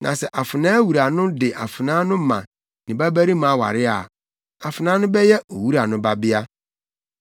Na sɛ afenaa wura no de afenaa no ma ne babarima aware a, afenaa no bɛyɛ owura no babea.